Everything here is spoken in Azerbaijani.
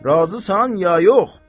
Razısan ya yox?